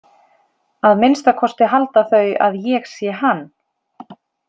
Að minnsta kosti halda þau að ég sé hann.